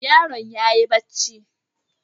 Yaron yayi bacci.